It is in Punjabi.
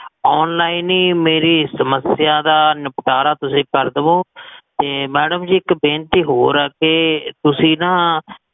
online ਹੀ ਮੇਰੀ ਸਮਸਿਆ ਦਾ ਨਿਪਟਾਰਾ ਤੁਸੀਂ ਕਰ ਦੇਵੋ, ਤੇ madam ਜੀ, ਇਕ ਬੇਨਤੀ ਹੋਰ ਆ, ਤੇ ਤੁਸੀਂ ਨਾ